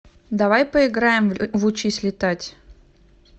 давай поиграем в учись летать